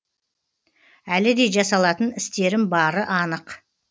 әлі де жасалатын істерім бары анық